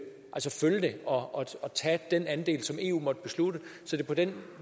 og og tage den andel som eu måtte beslutte så det på den